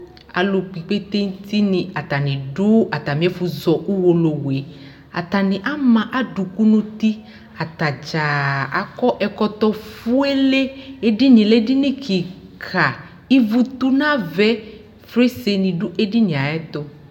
Alʋ kp'ikpetentinɩ atanɩ dʋ atamɩɛfʋ zɔ uwolowue ; atanɩ ama adʋkʋ n'uti Atadzaa akɔ ɛkɔ fuele Edinie lɛ edini kika ! Ivu tʋ n'avaɛ , fesrenɩ dʋ edinie ayɛtʋ